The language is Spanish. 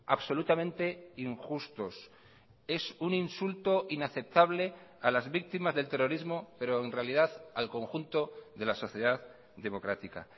absolutamente injustos es un insulto inaceptable a las víctimas del terrorismo pero en realidad al conjunto de la sociedad democrática